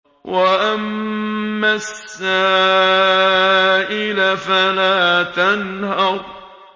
وَأَمَّا السَّائِلَ فَلَا تَنْهَرْ